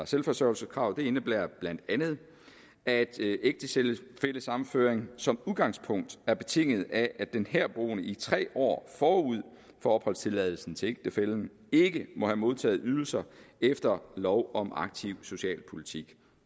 selvforsørgelseskravet indebærer bla at ægtefællesammenføring som udgangspunkt er betinget af at den herboende i tre år forud for opholdstilladelsen til ægtefællen ikke må have modtaget ydelser efter lov om aktiv socialpolitik